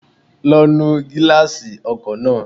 Lọ nu gíláàsì ọkọ̀ náà